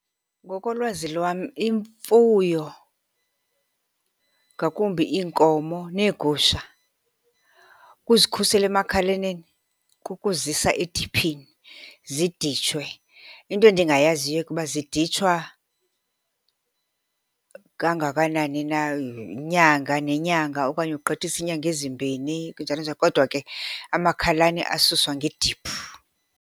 Ngokolwazi lwam imfuyo, ngakumbi iinkomo neegusha, ukuzikhusela emakhalaneni kukuzisa ediphini ziditshwe. Into endingayaziyo ke kuba ziditshwa kangakanani na, nyanga nenyanga okanye kugqithisa inyanga ezimbini, njalo njalo. Kodwa ke amakhalane asuswa ngediphu.